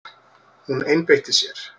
Hún einbeitti sér.